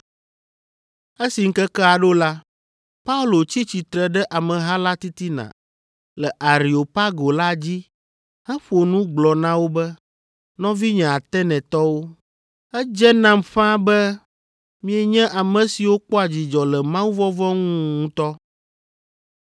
Esi ŋkekea ɖo la, Paulo tsi tsitre ɖe ameha la titina le Areopago la dzi heƒo nu gblɔ na wo be, “Nɔvinye Atenetɔwo, edze nam ƒãa be mienye ame siwo kpɔa dzidzɔ le mawuvɔvɔ̃ ŋu ŋutɔ,